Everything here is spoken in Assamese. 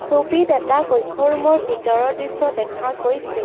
ছবিত এটা কক্ষ ৰুম ৰ ভিতৰৰ দৃশ্য দেখা গৈছে।